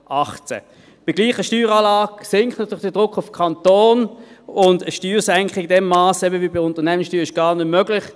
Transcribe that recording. Bei gleicher Steueranlage sinkt natürlich der Druck auf den Kanton, und eine Steuersenkung im selben Masse wie bei der Unternehmenssteuer ist gar nicht möglich.